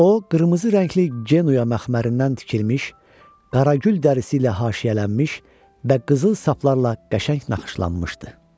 O qırmızı rəngli Genuya məxmərindən tikilmiş, Qaragül dərisi ilə haşiyələnmiş və qızıl saplarla qəşəng naxışlanmışdı.